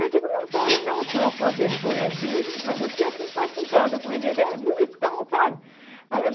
Eu digo, não quero não, senhor, com a vergonha dele, mas eu tinha simpatizado com ele, era bonitão, sabe? Aí eu